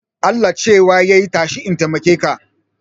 Allah cewa yai tashi in taimake ka